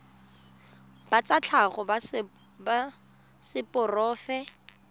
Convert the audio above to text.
ba tsa tlhago ba seporofe